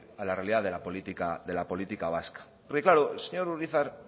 a la realidad de la política vasca porque claro el señor urizar